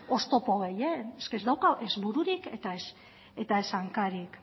oztopo horiek ez dauka ez bururik ez hankarik